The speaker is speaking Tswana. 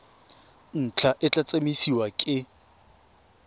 ntlha e tla tsamaisiwa ke